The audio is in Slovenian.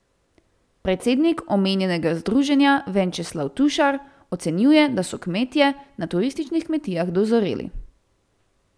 Predsednik omenjenega združenja Venčeslav Tušar ocenjuje, da so kmetje na turističnih kmetijah dozoreli.